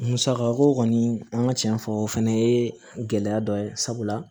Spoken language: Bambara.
Musaka ko kɔni an ka tiɲɛ fɔ o fana ye gɛlɛya dɔ ye sabula